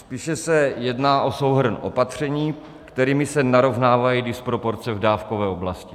Spíše se jedná o souhrn opatření, kterými se narovnávají disproporce v dávkové oblasti.